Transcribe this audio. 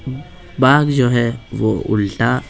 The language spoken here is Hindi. बाघ जो है वो उल्टा---